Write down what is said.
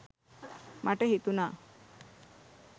මට හිතුණා